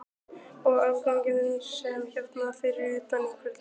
Og afganginn svo hérna fyrir utan einhvern laugardaginn?